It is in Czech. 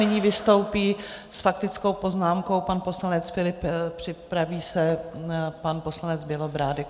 Nyní vystoupí s faktickou poznámkou pan poslanec Philipp, připraví se pan poslanec Bělobrádek.